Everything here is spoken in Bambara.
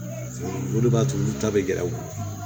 o de b'a to olu ta bɛ gɛrɛ u la